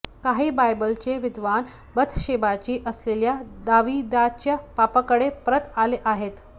काही बायबलचे विद्वान बथशेबाशी असलेल्या दाविदाच्या पापाकडे परत आले आहेत